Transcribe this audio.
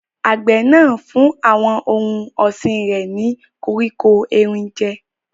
Àgbẹ̀ náà ń fún àwọn ohun ọ̀sìn rẹ̀ ní koríko erin jẹ́.